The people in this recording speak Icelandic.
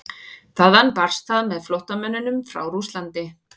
Þaðan barst það með flóttamönnum frá Rússlandi.